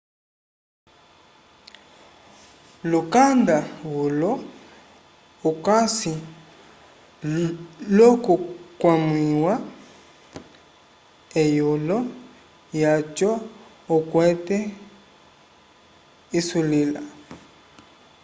lukanda ulo ukasi l'okukwamĩwa eyulo lyaco okwete isulila